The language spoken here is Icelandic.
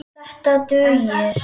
Þetta dugir.